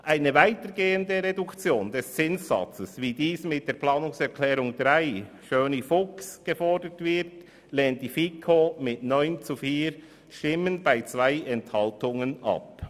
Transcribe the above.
Eine weitergehende Reduktion des Zinssatzes, wie sie mit der Planungserklärung 3, Schöni und Fuchs, gefordert wird, lehnt die FiKo mit 9 zu 4 Stimmen bei 2 Enthaltungen ab.